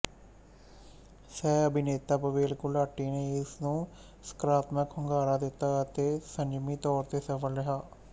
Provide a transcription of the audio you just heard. ਸਹਿਅਭਿਨੇਤਾ ਪਵੇਲ ਗੁਲਾਟੀ ਨੇ ਇਸ ਨੂੰ ਸਕਾਰਾਤਮਕ ਹੁੰਗਾਰਾ ਦਿੱਤਾ ਅਤੇ ਸੰਜਮੀ ਤੌਰ ਤੇ ਸਫਲ ਰਿਹਾ